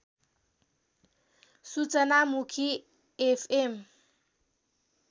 सूचनामुखी FM